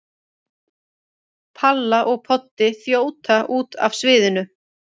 Palla og Poddi þjóta út af sviðinu.